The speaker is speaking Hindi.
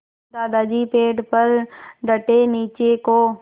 दादाजी पेड़ पर डटे नीचे को